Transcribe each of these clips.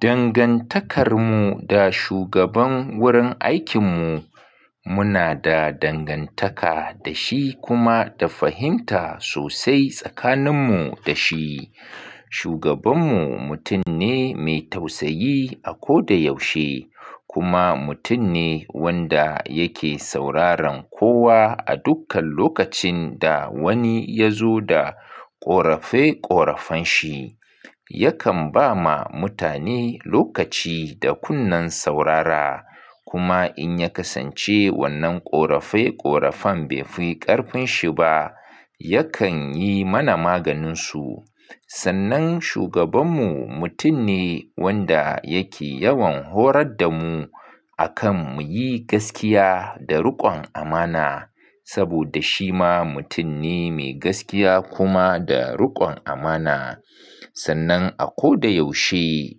Dangantakarmu da shugaban wurin aikinmu, muna da dangantaka da shi kuma da fahimta sosai tsakaninmu da shi. Shugabanmu mutum ne mai tausayi a ko da yaushe kuma mutum ne wanda yake sauraron kowa a dukkan lokacin da wani ya zo da ƙorafe-ƙorafen shi. Yakan ba ma mutane lokaci da kunnen saurara kuma in ya kasance wannan ƙorafe-ƙorafen bai fi ƙarfin shi ba, yakan yi mana maganinsu. Sannan shugabanmu mutum ne wanda yake yawan horar da mu akan muyi gaskiya da riƙon amana saboda shi ma mutum ne mai gaskiya kuma da riƙon amana. Sannan a ko da yaushe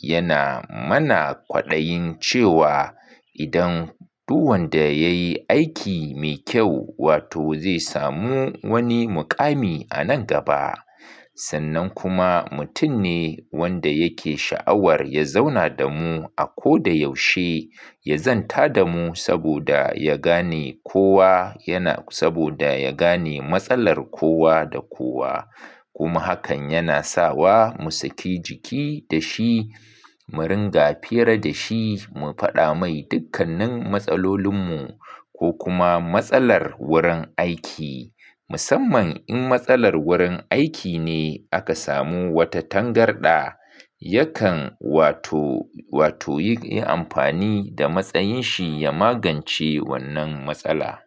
yana mana kwaɗayin cewa idan duk wanda ya yi aiki mai kyau, wato zai samu wani muƙami a nan gaba. Sannan kuma mutum ne wanda yake sha'awar ya zauna da mu a ko da yaushe, ya zanta da mu saboda ya gane kowa yana-- saboda ya gane matsalar kowa da kowa. Kuma hakan yana sawa mu saki jiki da shi, mu ringa fira da shi, mu faɗa mai dukkanin matsalolinmu ko kuma matsalar wurin aiki. Musamman in matsalar wurin aiki ne aka samu wata tangarɗa, yakan wato, wato yi amfani da matsayin shi ya magance wannan matsala.